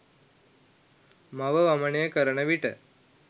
මව වමනය කරන විට